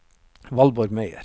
Valborg Meyer